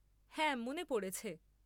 হ্যাঁ মনে পড়েছে।